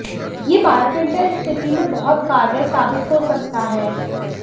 यह बायोप्रिंटर इस स्थिति में बहुत कारगर साबित हो सकता है